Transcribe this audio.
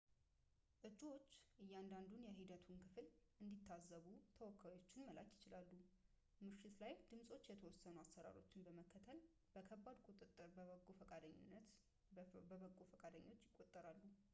እጩዎች እያንዳንዱን የሂደቱን ክፍል እንዲታዘቡ ተወካዮችን መላክ ይችላሉ ምሽት ላይ ድምፆች የተወሰኑ አሰራሮችን በመከተል በከባድ ቁጥጥር በበጎ ፈቃደኞች ይቆጠራሉ